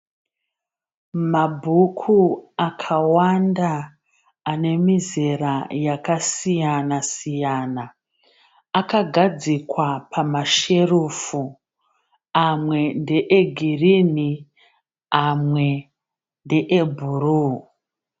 Mabhuku akawanda ane mizera yakasiyana siyana. Akagadzikwa pamasherufu. Amwe ndeegirinhi amwe ndeebhuruu.